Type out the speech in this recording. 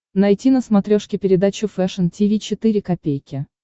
найти на смотрешке передачу фэшн ти ви четыре ка